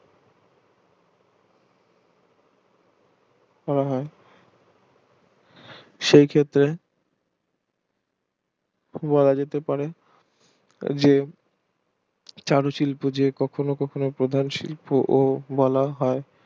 করা হয় সেই ক্ষেত্রে বলা যেতে পারে চারু শিল্প যে কখনো কখনো প্রধান শিল্প বলা হয়